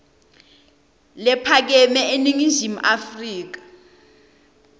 lephakeme eningizimu afrika